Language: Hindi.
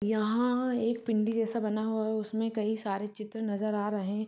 यहाँ आ एक पिंडी जैसा बना हुआ है उसमे कई सारे चित्र नजर आ रहे है।